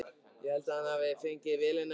Ég held að hann hafi fengið vélina í Þýskalandi.